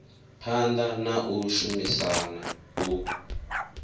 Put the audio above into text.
phanḓa na u shumisana u